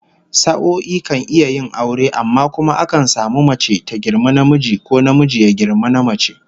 Sa'o'i kan iya yin aure, amma kuma akan samu mace ta girmi namiji, ko namiji ya girmi namace